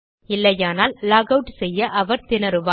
இல்லையானால் லாகவுட் செய்ய அவர் திணறுவார்